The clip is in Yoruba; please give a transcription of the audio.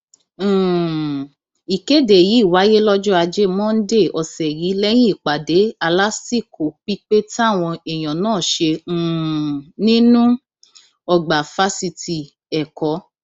um ìkéde yìí wáyé lọjọ ajé monde ọsẹ yìí lẹyìn ìpàdé alásìkò pípé táwọn èèyàn náà ṣe um nínú ọgbà fásitì ẹkọ